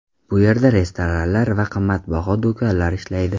Bu yerda restoranlar va qimmatbaho do‘konlar ishlaydi.